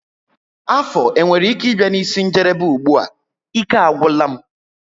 Afọ enwere ike i bia n'isi njedebe ùgbúà? ike agwula m